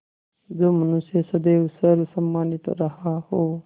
जो मनुष्य सदैव सर्वसम्मानित रहा हो